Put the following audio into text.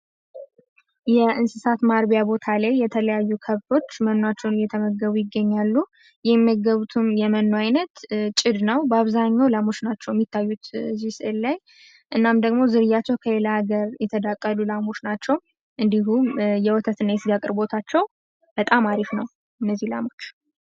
የእንስሳት ማርቢያ ቦታ ላይ የተለያዩ ከብቶች መኗቸውን እየተመገቡ ይገኛሉ። የሚመገቡትም የመኖ አይነት ጭድ ነው። ባብዛኛው ላሞች ናቸው የሚታዩትም የሚታዩት እዚህ ስዕል ላይ። እናም ደግሞ ዝርያቸው ከሌላ ሀገር የተዳቀሉ ላሞች ናቸው። እንዲሁም የወተት እና የስጋ አቅርቦታቸው በጣም አሪፍ ነው እነዚህ ላሞች።